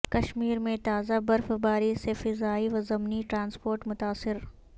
کشمیرمیں تازہ برف باری سے فضائی و زمینی ٹرانسپورٹ متاثر